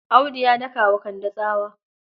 Audu ya daka wa Kande tsawa.